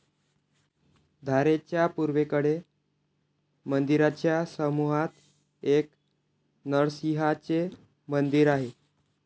धारेच्या पूर्वेकडे मंदिराच्या समूहात एक नरसिंहाचे मंदिर आहे.